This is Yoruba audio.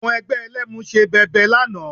Àwọn ẹgbẹ́ Ẹlẹ́mu ṣe bẹbẹ lánàá